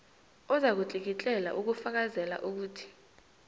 ozakutlikitlela ukufakazela ukuthi